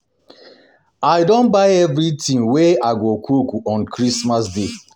I don buy everything wey I go cook on Christmas day